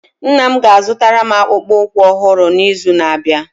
Nna m ga-azụtara m akpụkpọ ụkwụ ọhụrụ n'izu na-abịa